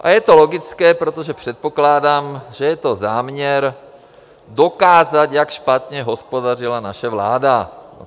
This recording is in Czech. A je to logické, protože předpokládám, že je to záměr dokázat, jak špatně hospodařila naše vláda.